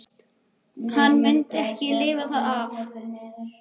Hann mundi ekki lifa það af!